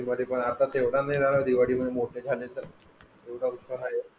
दिवाळीमध्ये पण मोठे झालेतर एवढा विश्वास आहे